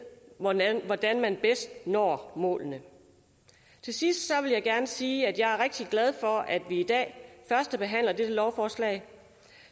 hvordan hvordan man bedst når målene til sidst vil jeg gerne sige at jeg er rigtig glad for at vi i dag førstebehandler dette lovforslag